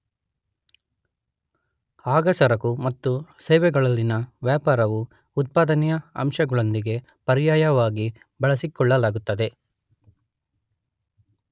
ಆಗ ಸರಕು ಮತ್ತು ಸೇವೆಗಳಲ್ಲಿನ ವ್ಯಾಪಾರವು ಉತ್ಪಾದನೆಯ ಅಂಶಗಳೊಂದಿಗೆ ಪರ್ಯಾಯವಾಗಿ ಬಳಸಿಕೊಳ್ಳಲಾಗುತ್ತದೆ.